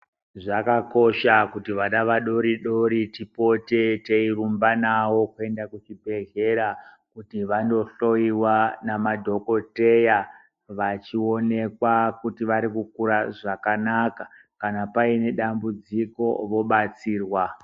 Zvakakosha kuti vana vadoridori tipote teirumba navo kuenda kuzvibhedhlera kuti vandohloyiwa namadhokoteya vechionekwa kuti varikukura zvakanaka kana paine dambudziko vobatsirwa.